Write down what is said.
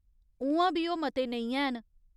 उ'आं बीओह् मते नेईं हैन।